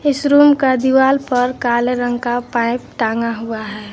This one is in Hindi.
इस रूम का दीवाल पर काले रंग का पाइप टांगा हुआ है।